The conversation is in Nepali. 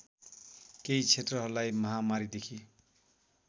केही क्षेत्रहरूलाई महामारीदेखि